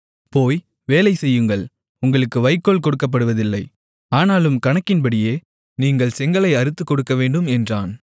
போய் வேலை செய்யுங்கள் உங்களுக்கு வைக்கோல் கொடுக்கப்படுவதில்லை ஆனாலும் கணக்கின்படியே நீங்கள் செங்கலை அறுத்துக் கொடுக்கவேண்டும் என்றான்